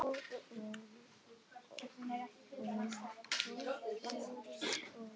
Konur kvöddu menn sína og kannski syni líka.